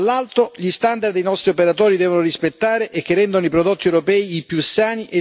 dall'altro gli standard che i nostri operatori devono rispettare e che rendono i prodotti europei i più